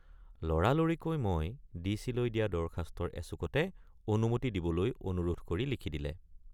লৰা লৰিকৈ মই ডিচিলৈ দিয়া দৰখাস্তৰ এচুকতে অনুমতি দিবলৈ অনুৰোধ কৰি লিখি দিলে।